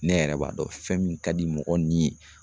Ne yɛrɛ b'a dɔn fɛn min ka di mɔgɔ ni ye